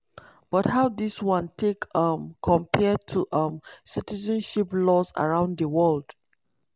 but how dis one take um compare to um citizenship laws around di world?